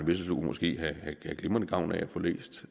vesselbo måske have glimrende gavn af at få læst